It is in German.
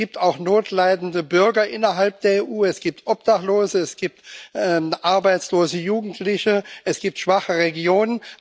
Es gibt auch notleidende Bürger innerhalb der EU, es gibt Obdachlose, es gibt arbeitslose Jugendliche, es gibt schwache Regionen.